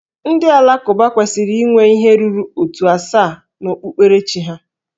Ndị Alakụba kwesịrị inwe ihe ruru ótù asaa na okpukperechi ha